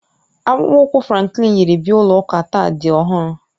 Akpụkpọ ụkwụ Franklin yiri bịa ụlọ ụka taa dị ọhụrụ